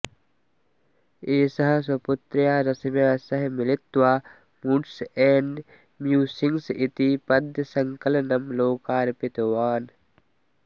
एषः स्वपुत्र्या रश्म्या सह मिलित्वा मूड्स् एण्ड् म्यूसिङ्ग्स् इति पद्यसङ्कलनम् लोकार्पितवान्